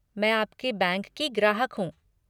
मैं आपके बैंक की ग्राहक हूँ।